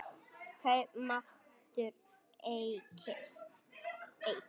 Kaupmáttur eykst